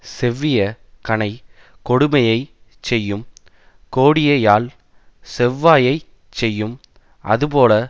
செவ்விய கணை கொடுமையை செய்யும் கோடியயாழ் செவ்வாயைச் செய்யும் அதுபோல